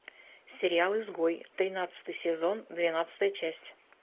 сериал изгой тринадцатый сезон двенадцатая часть